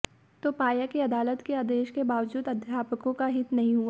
तो पाया की अदालत के आदेश के बावजूद अध्यापकों का हित नहीं हुआ